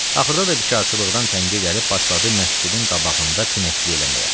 Axırda da bikarçılıqdan tənə gəlib başladı məscidin qabağında pinəkçilik eləməyə.